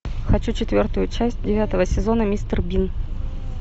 хочу четвертую часть девятого сезона мистер бин